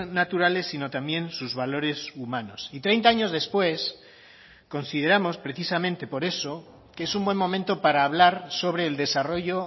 naturales sino también sus valores humanos y treinta años después consideramos precisamente por eso que es un buen momento para hablar sobre el desarrollo